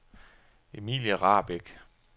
Emilie Rahbek